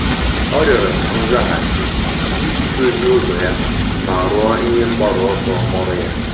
Ọ́ rịọ̀rọ̀ nzaghachi iji dòzìé ụ́zọ́ ya ma rúó ihe mgbaru ọsọ ọ́rụ́ ya.